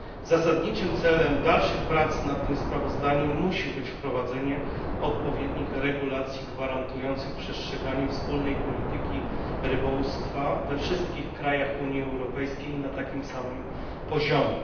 Zasadniczym celem dalszych prac nad tym sprawozdaniem musi być wprowadzenie odpowiednich regulacji gwarantujących przestrzeganie wspólnej polityki rybołówstwa we wszystkich krajach Unii Europejskiej na takim samym poziomie.